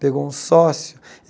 Pegou um sócio.